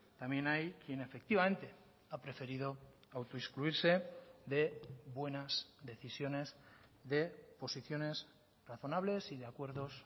también hay quien efectivamente ha preferido autoexcluirse de buenas decisiones de posiciones razonables y de acuerdos